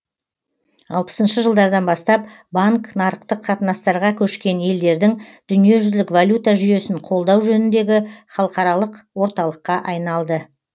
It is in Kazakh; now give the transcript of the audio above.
алпысыншы жылдардан бастап банк нарықтық қатынастарға көшкен елдердің дүниежүзілік валюта жүйесін қолдау жөніндегі халықаралық орталыққа айналды